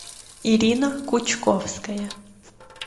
ирина кучковская